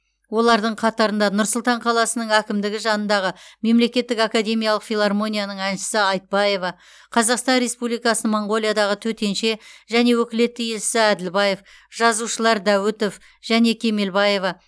олардың қатарында нұр сұлтан қаласының әкімдігі жанындағы мемлекеттік академиялық филармонияның әншісі айтбаева қазақстан республикасының моңғолиядағы төтенше және өкілетті елшісі әділбаев жазушылар дәуітов және кемелбаева